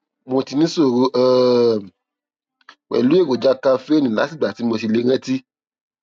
mo ti níṣòro um pẹlú èròjà kaféènì látìgbà tí mo ti lè rántí